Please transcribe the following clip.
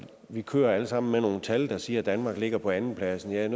vi kører alle sammen med nogle tal der siger at danmark ligger på andenpladsen jeg er